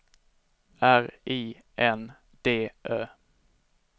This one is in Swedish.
R I N D Ö